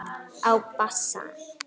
Á bassa.